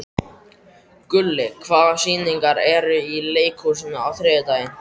Gulli, hvaða sýningar eru í leikhúsinu á þriðjudaginn?